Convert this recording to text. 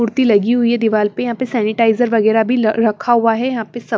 कुड़ती लगी हुई है दीवाल पर यहां पर सैनिटाइजर वगैरा भी रखा हुआ है यहां पे सब--